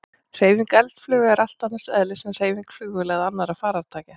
Hreyfing eldflauga er allt annars eðlis en hreyfing flugvéla eða annarra farartækja.